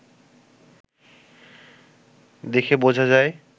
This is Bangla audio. দেখে বোঝা যায়